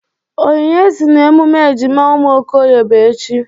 Onyinye sị na emume ejima ụmụ Okoye bụ echi.